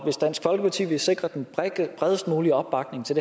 hvis dansk folkeparti vil sikre den bredest mulige opbakning til